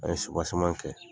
An ye kɛ